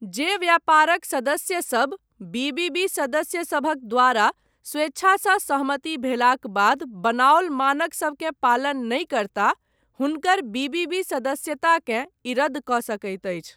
जे व्यापारक सदस्यसभ बी.बी.बी. सदस्यसभक द्वारा स्वेच्छासँ सहमति भेलाक बाद बनाओल मानकसभकेँ पालन नहि करता हुनकर बी.बी.बी. सदस्यताकेँ ई रद्द कऽ सकैत अछि।